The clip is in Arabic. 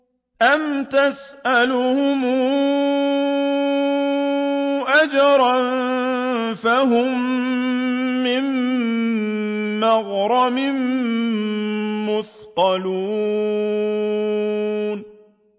أَمْ تَسْأَلُهُمْ أَجْرًا فَهُم مِّن مَّغْرَمٍ مُّثْقَلُونَ